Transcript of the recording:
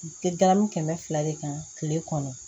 Galamu kɛmɛ fila de kan kile kɔnɔ